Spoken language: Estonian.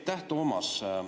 Aitäh!